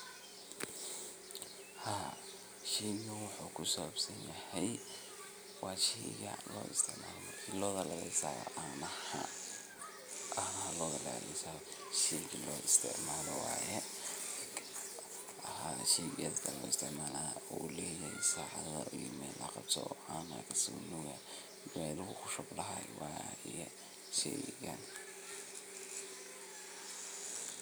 Haa sheyga wuxu kusabsanyahay wa shey loistacmalo lotha lagaliso canahaa ah sheyga loistacmalo wayee Haa sheygas aya laguistacmala uleyahay sacatha iyo Mel laqabsatho ha sheygas aya lositacmala uleyahay Mel laqabsatho